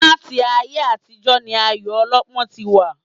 Láti ayé àtijọ́ ni ayò ọlọ́pọ́ ti wà